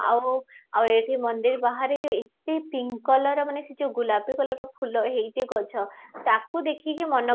ଆଉ ଆଉ ଏଠି ମନ୍ଦିର ବାହାରେ ଯଉ ଏତେ pink color ର ମାନେ ସେଇ ଯାଉ ଗୋଲାବେ color ର ଫୁଲ ହେଇଛି ଗଛ ତାକୁ ଦେଖି କି ମନ